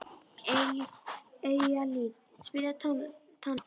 Eyjalín, spilaðu tónlist.